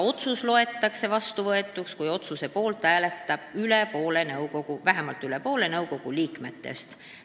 Otsus loetakse vastuvõetuks, kui selle poolt hääletab vähemalt üle poole nõukogu liikmetest.